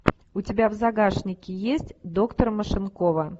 у тебя в загашнике есть доктор машинкова